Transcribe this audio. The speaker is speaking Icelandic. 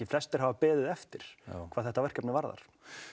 flestir hafa beðið eftir hvað þetta verkefni varðar